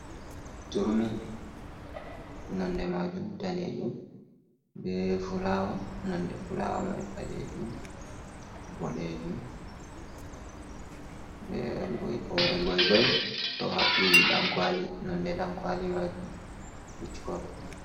Turmi nonnde majum daneejum be fulawa, nonnde fulawo mai ɓaleejum, boɗeejum be hoore goi goi ɗo haɓɓi ɗankwali, nonnde ɗankwali majum pitch kolo.